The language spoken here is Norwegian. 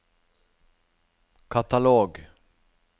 katalog